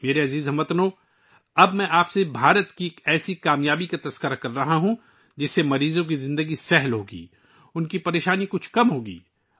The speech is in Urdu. میرے پیارے ہم وطنو، میں اب آپ کے ساتھ بھارت کی ایک کام یابی شیئر کر رہا ہوں جس سے مریضوں کی زندگی آسان ہو جائے گی اور ان کی پریشانیاں ایک حد تک کم ہو جائیں گی